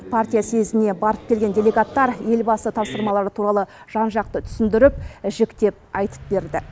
партия съезіне барып келген делегаттар елбасы тапсырмалары туралы жан жақты түсіндіріп жіктеп айтып берді